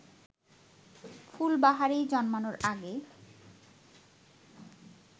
ফুলবাহারি জন্মানোর আগে